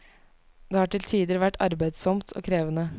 Det har til tider vært arbeidsomt og krevende.